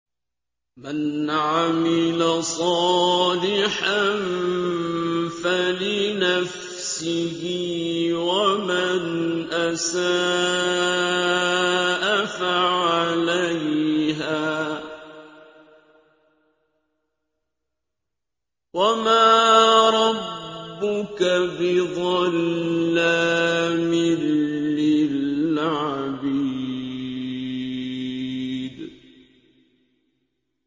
مَّنْ عَمِلَ صَالِحًا فَلِنَفْسِهِ ۖ وَمَنْ أَسَاءَ فَعَلَيْهَا ۗ وَمَا رَبُّكَ بِظَلَّامٍ لِّلْعَبِيدِ